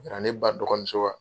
A nana ne ba dɔgɔmuso wa